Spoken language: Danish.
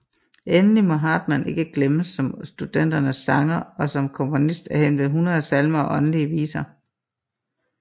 Endelig må Hartmann ikke glemmes som studenternes sanger og som komponist af henved 100 salmer og åndelige viser